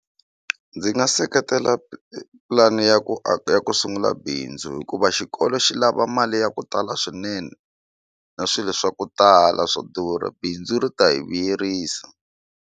Ndzi nga seketela pulani ya ku aka ya ku sungula bindzu hikuva xikolo xi lava mali ya ku tala swinene na swilo swa ku tala swo durha bindzu ri ta hi vuyerisa.